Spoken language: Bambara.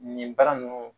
Nin baara ninnu